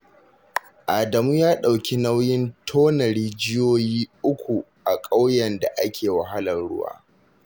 Adamu ya ɗauki nauyin tona rijiyoyi uku a ƙauyen da ake wahalar ruwa